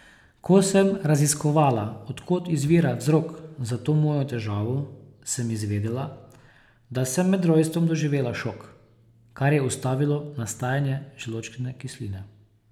Ko sem raziskovala, od kod izvira vzrok za to mojo težavo, sem izvedela, da sem med rojstvom doživela šok, kar je ustavilo nastajanje želodčne kisline.